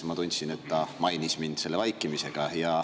Ma tundsin, et ta mainis mind selle vaikimisega.